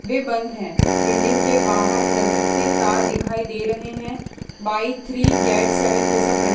वे बंद है बिल्डिंग के बाहर लटकते तार दिखाई दे रहे हैं बाय थ्री गेट सेवन जैसा--